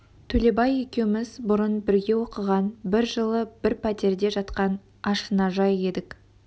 төлебай екеуміз бұрын бірге оқыған бір жылы бір пәтерде жатқан ашынажай едік